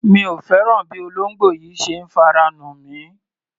Mi ò fẹ́ràn bí olóńgbò yìí ṣe ń fara nù mí.